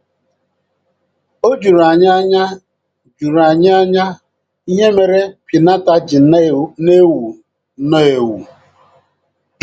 O juru anyị anya juru anyị anya ihe mere piñata ji na - ewu nnọọ ewu.